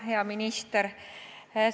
Hea minister!